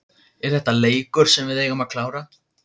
Er þetta leikur sem við eigum að klára?